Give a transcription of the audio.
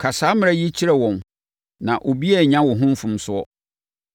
Ka saa mmara yi kyerɛ wɔn na obi annya wo ho mfomsoɔ.